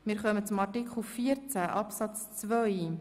Wir kommen nun zur Abstimmung über Artikel 14 Absatz 2.